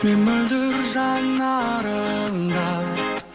мен мөлдір жанарыңнан